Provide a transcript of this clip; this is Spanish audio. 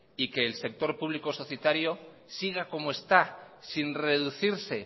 y que el sector público societario siga como está sin reducirse